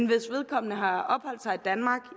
vedkommende har opholdt sig i danmark